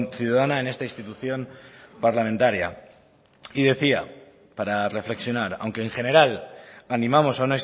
ciudadana en esta institución parlamentaria y decía para reflexionar aunque en general animamos a